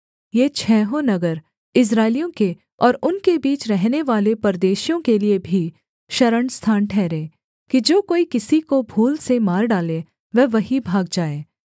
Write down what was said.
ये छहों नगर इस्राएलियों के और उनके बीच रहनेवाले परदेशियों के लिये भी शरणस्थान ठहरें कि जो कोई किसी को भूल से मार डाले वह वहीं भाग जाए